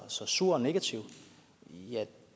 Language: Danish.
så sur og negativ